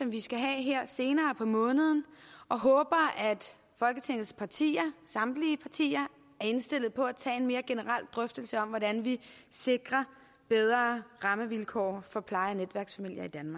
vi skal have her senere på måneden og håber at folketingets partier samtlige partier er indstillet på at tage en mere generel drøftelse af hvordan vi sikrer bedre rammevilkår for pleje